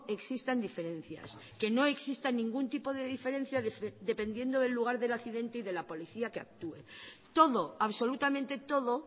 existan diferencias que no exista ningún tipo de diferencia dependiendo del lugar del accidente y de la policía que actúe todo absolutamente todo